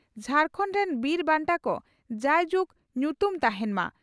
ᱡᱷᱟᱨᱠᱷᱟᱹᱱᱰ ᱨᱮᱱ ᱵᱤᱨ ᱵᱟᱱᱴᱟ ᱠᱚ ᱡᱟᱭ ᱡᱩᱜ ᱧᱩᱛᱩᱢ ᱛᱟᱦᱮᱱ ᱢᱟ ᱾